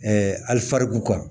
alifariku